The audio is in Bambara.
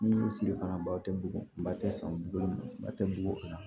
Ni siri fana baw tɛ bugun ba tɛ san bi duuru ba tɛ bugunna